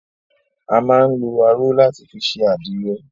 A máa ń lọ aró láti fi ṣe àdìrẹ.